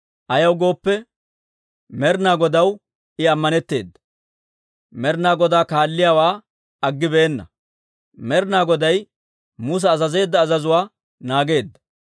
Ayaw gooppe, Med'ina Godaw I amaneteedda; Med'ina Godaa kaalliyaawaa aggibeenna; Med'ina Goday Musa azazeedda azazuwaa naageedda.